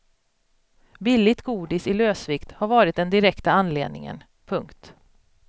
Billigt godis i lösvikt har varit den direkta anledningen. punkt